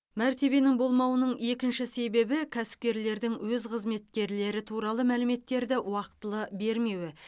мәртебенің болмауының екінші себебі кәсіпкерлердің өз қызметкерлері туралы мәліметтерді уақтылы бермеуі